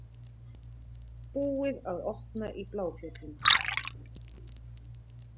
Búið að opna í Bláfjöllum